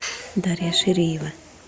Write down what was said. дарья ширеева